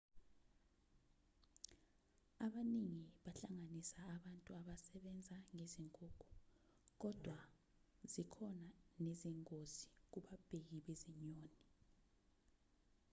abaningi bahlanganisa abantu abasebenza ngezinkukhu kodwa zikhona nezingozi kubabheki bezinyoni